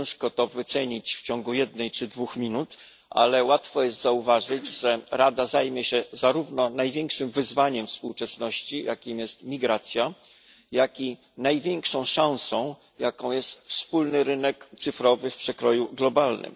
Ciężko to ocenić w ciągu jednej czy dwóch minut, ale łatwo jest zauważyć, że Rada zajmie się zarówno największym wyzwaniem współczesności, jakim jest migracja, jak i największą szansą, jaką jest wspólny rynek cyfrowy w przekroju globalnym.